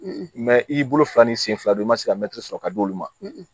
i bolo fila ni sen fila don i ma se ka mɛtiri sɔrɔ ka d'olu ma